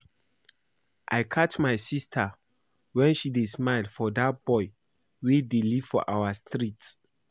I catch my sister wen she dey smile for dat boy wey dey live for our street